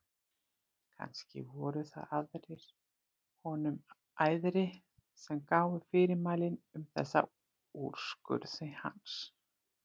Kannski voru það aðrir honum æðri sem gáfu fyrirmælin um þessa úrskurði hans.